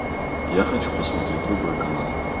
я хочу посмотреть другой канал